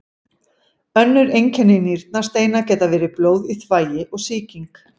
Önnur einkenni nýrnasteina geta verið blóð í þvagi og sýking.